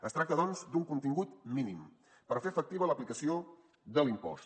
es tracta doncs d’un contingut mínim per fer efectiva l’aplicació de l’impost